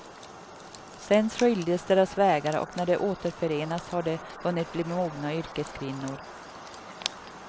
Sen skiljdes deras vägar och när de återförenas har de hunnit bli mogna yrkeskvinnor.